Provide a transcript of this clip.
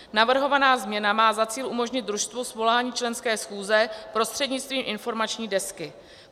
Navrhovaná změna má za cíl umožnit družstvu svolání členské schůze prostřednictvím informační desky.